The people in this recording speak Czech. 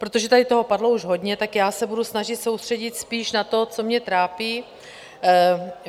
Protože tady toho padlo již hodně, tak já se budu snažit soustředit spíš na to, co mě trápí.